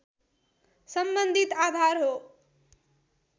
सम्बन्धित आधार हो